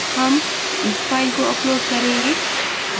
हम इस फ़ाइल को upload करेंगे